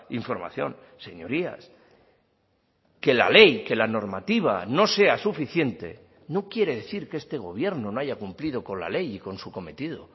información señorías que la ley que la normativa no sea suficiente no quiere decir que este gobierno no haya cumplido con la ley y con su cometido